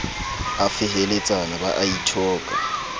a feheletsana ba a ithoka